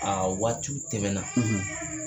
Aa waatiw tɛmɛna